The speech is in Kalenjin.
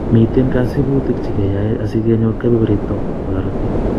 Miten kasibutik che keyoi asikenyor kebeberitok bo korotik